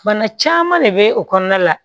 Bana caman de bɛ o kɔnɔna la